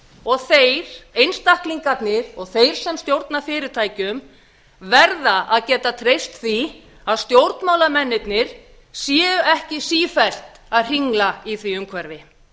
og þeir einstaklingarnir og þeir sem stjórna fyrirtækjum verða að geta treyst því að stjórnmálamennirnir séu ekki sífellt að hringla í því umhverfi